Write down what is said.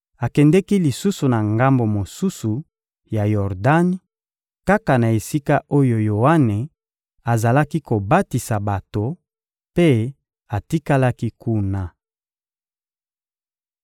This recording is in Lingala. Akendeki lisusu na ngambo mosusu ya Yordani, kaka na esika oyo Yoane azalaki kobatisa bato, mpe atikalaki kuna.